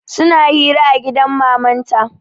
Suna hira a gidan mamanta